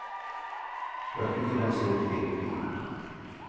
Jag tycker den ser trevlig ut.